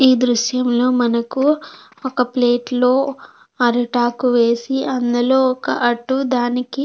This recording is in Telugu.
ఈ దృశ్యంలో మనకు ఒక ప్లేట్ లో అరిటాకు వేసి అందులో ఒక అట్టు దానికి--